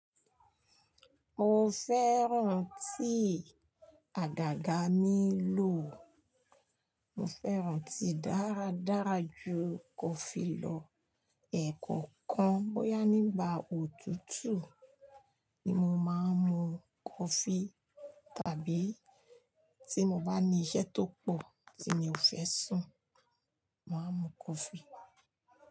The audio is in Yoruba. Mo fẹ́ràn tíì àdàga mi lò. Mo fẹ́ràn tíì dáradára ju kọfí lọ. Ẹ̀ kọ̀ọ̀kan bóyá nígbà òtútù ni mo máa ń mu kọfí tàbí tí mo bá ní iṣẹ́ tó pọ̀ tí mi ò fẹ́ sùn, màá mu kọfí.